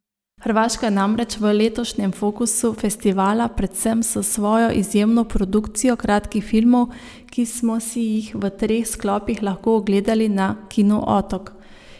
Hrvaška je namreč v letošnjem fokusu festivala, predvsem s svojo izjemno produkcijo kratkih filmov, ki smo si jih v treh sklopih lahko ogledali na Kinu otok.